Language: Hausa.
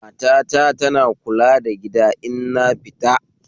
Mata ta tana kula da gida in nafita